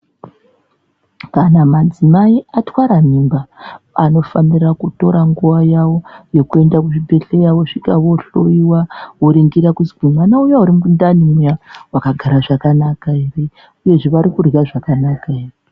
Kana madzimai atwara mimba anofanira kutora nguwa yawo yekuenda kuzvibhedhlera vosvika vohliyiwa voringira kuti mwana uya urimundani uya wakagara zvakanaka ere uyezve varikurya zvakanaka here.